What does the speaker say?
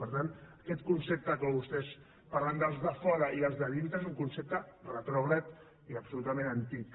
per tant aquest concepte amb què vostès parlen dels de fora i els de dintre és un concepte retrògrad i absolutament antic